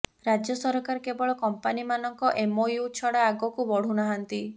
ରାଜ୍ୟ ସରକାର କେବଳ କମ୍ପାନିମାନଙ୍କ ଏମ୍ଓୟୁ ଛଡ଼ା ଆଗକୁ ବଢ଼ୁ ନାହାନ୍ତି